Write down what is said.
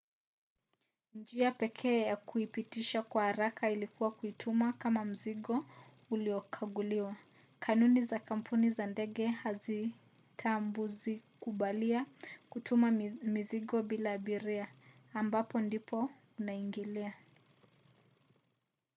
njia pekee ya kuipitisha kwa haraka ilikuwa kuituma kama mzigo uliokaguliwa. kanuni za kampuni za ndege hazitazikubalia kutuma mzigo bila abiria ambapo ndipo unaingilia